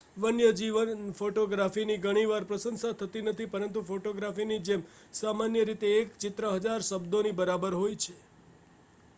વન્યજીવન ફોટોગ્રાફીની ઘણી વાર પ્રશંસા થતી નથી પરંતુ ફોટોગ્રાફીની જેમ સામાન્ય રીતે એક ચિત્ર હજાર શબ્દોની બારોબર હોય છે